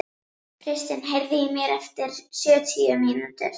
Kristin, heyrðu í mér eftir sjötíu mínútur.